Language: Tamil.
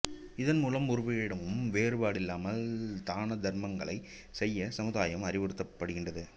இதன் மூலம் ஒருவரிடமும் வேறுபாடில்லாமல் தானதருமங்களை செய்ய சமுதாயம் அறிவுறுத்தப்படுகின்றது